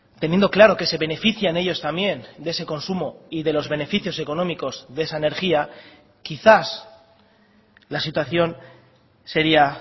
teniendo claro que se benefician ellos también de ese consumo y de los beneficios económicos de esa energía quizás la situación sería